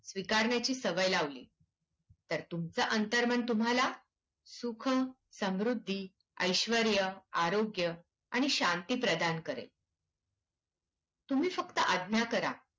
स्वीकारण्याची सवय लावली तर तुमचं अंतर्मन तुम्हाला सुख, समृद्धी, ऐश्वर्य, आरोग्य, आणि शांती प्रदान करेल. तुम्ही फक्त आज्ञा करा.